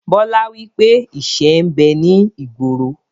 Bọlá wípé ìṣẹ́ ń bẹ ní ìgboro